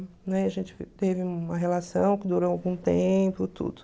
Né? A gente teve uma relação que durou algum tempo, tudo.